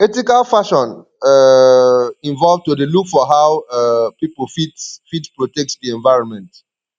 ethical fashion um involve to dey look for how um pipo fit fit protect di environment